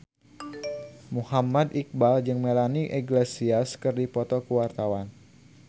Muhammad Iqbal jeung Melanie Iglesias keur dipoto ku wartawan